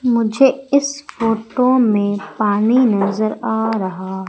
मुझे इस फोटो में पानी नजर आ रहा--